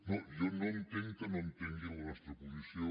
no jo no entenc que no entengui la nostra posició